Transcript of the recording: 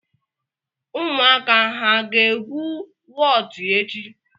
Ụmụaka ha ga-egwu wọtu echi?